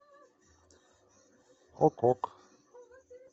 ок ок